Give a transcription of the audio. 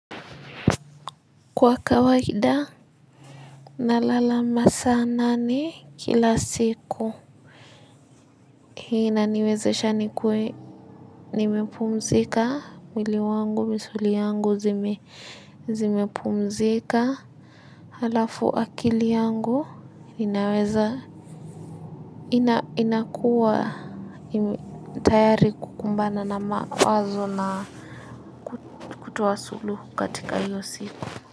Kwa kawaida nalala masaa nane kila siku. Hii inaniwezesha nikuwe nimepumzika mwili wangu misuli yangu zimepumzika halafu akili yangu inaweza, inakuwa tayari kukumbana na mawazo na kutoa suluhu katika hiyo siku.